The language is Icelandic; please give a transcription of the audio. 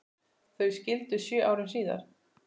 Þau skildu sjö árum síðar.